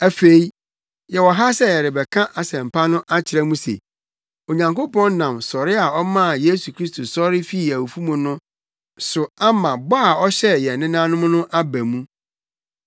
“Afei yɛwɔ ha sɛ yɛrebɛka asɛmpa no akyerɛ mo se, Onyankopɔn nam sɔre a ɔmaa Yesu Kristo sɔre fii awufo mu no so ama bɔ a ɔhyɛɛ yɛn nenanom no aba mu.